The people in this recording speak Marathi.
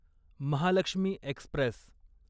महालक्ष्मी एक्स्प्रेस